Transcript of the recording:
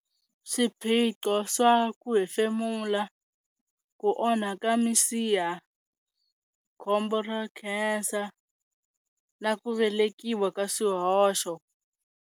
Swiphiqo swa ku hefemula, ku onhaka misiha, khombo ra cancer na ku velekiwa ka swihoxo.